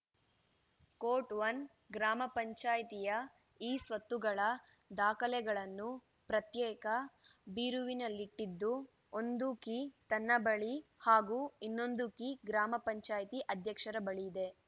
ಕೋಟ್‌ಒನ್ ಗ್ರಾಮ ಪಂಚಾಯಿತಿಯ ಇಸ್ವತ್ತುಗಳ ದಾಖಲೆಗಳನ್ನು ಪ್ರತ್ಯೇಕ ಬೀರುವಿನಲ್ಲಿಟ್ಟಿದ್ದು ಒಂದು ಕೀ ತನ್ನ ಬಳಿ ಹಾಗೂ ಇನ್ನೊಂದು ಕೀ ಗ್ರಾಮ ಪಂಚಾಯಿತಿ ಅಧ್ಯಕ್ಷರ ಬಳಿಯಿದೆ